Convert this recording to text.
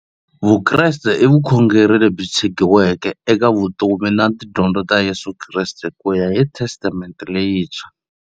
Vukreste i vukhongeri lebyi tshegiweke eka vutomi na tidyondzo ta Yesu Kreste kuya hi Testamente leyintshwa.